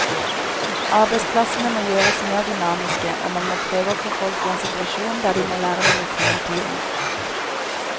Arbeidsplassene må gjøres mer dynamiske, og man må prøve å få folk i en situasjon der de må lære noe nytt hele tiden.